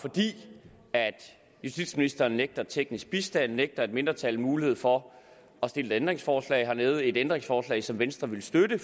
fordi justitsministeren nægter teknisk bistand nægter et mindretal mulighed for at stille et ændringsforslag at lave et ændringsforslag som venstre ville støtte